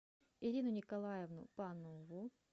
ирину николаевну панову